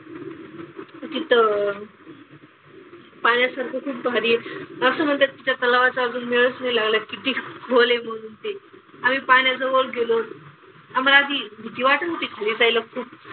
तिथं पाहण्यासारखं खूप भारी आहे. असं म्हणतात की त्या तलावाचा अजून मेळच नाही लागलाय किती खोल आहे म्हणून ते. आम्ही पाण्याजवळ गेलो. आम्हाला ती भीती वाटत होती खाली जायला खूप.